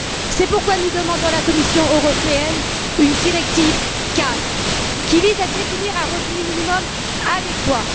C'est pourquoi nous demandons à la Commission européenne une directive cadre qui vise à définir un revenu minimum adéquat.